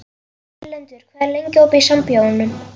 Erlendur, hvað er lengi opið í Sambíóunum?